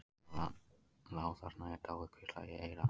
Þegar hann lá þarna í dái hvíslaði ég í eyra hans.